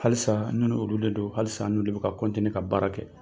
Halisa ne ni olu de don , halisa n'olu de bi ka ka baara kɛ.